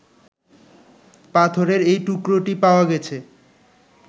পাথরের এই টুকরোটি পাওয়া গেছে